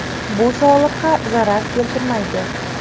Bu sog‘liqqa zarar keltirmaydi.